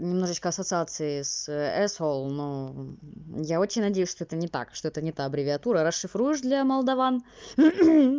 немножечко ассоциации с свл но я очень надеюсь что это не так что это нет аббревиатура расшифруешь для молдаван